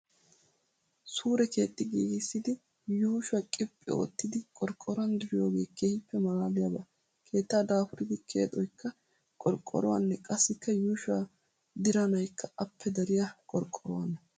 Suure keexxi giigissidi yuushuwaa qiphphi oottidi qorqqoruwaan diriyoogee keehippe maalaaliyaaba. keetta daapuridi keexxoyikka qorqqoruwaanee qassikka yuushuwaa diranayikka appe dariyaa qorqqoruwaanee.